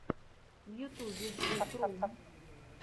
в ютубе звукру